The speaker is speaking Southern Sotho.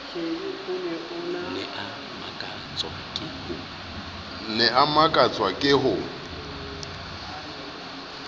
ne a makatswa ke ho